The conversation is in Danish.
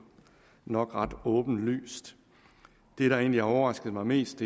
nok ret åbenlyst det der egentlig har overrasket mig mest